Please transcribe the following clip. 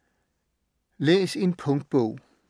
Læs en punktbog